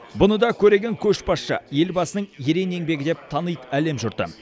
бұны да көреген көшбасшы елбасының ерен еңбегі деп таниды әлем жұрты